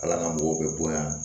Ala ka mɔgɔw bɛ bonya